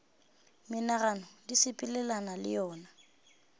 menagano di sepelelana le yona